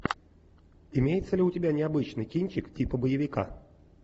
имеется ли у тебя необычный кинчик типа боевика